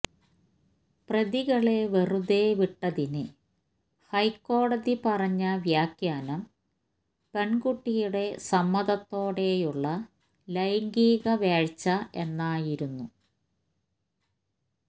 പ്രതികളെ വെറുതെവിട്ടതിന് ഹൈക്കോടതി പറഞ്ഞ വ്യഖ്യാനം പെണ്കുട്ടിയുടെ സമ്മതത്തോടെയുള്ള ലൈംഗികവേഴ്ച എന്നായിരുന്നു